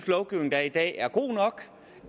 lovgivning der er i dag er god nok